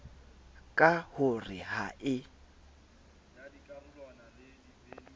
ka ho re ha e